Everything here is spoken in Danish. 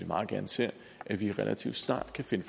meget gerne ser at vi relativt snart kan finde